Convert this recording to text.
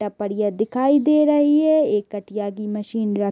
टपरिया दिखाई दे रही है एक कटिया की मशीन --